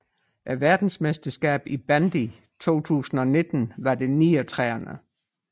Verdensmesterskabet i bandy 2019 var det 39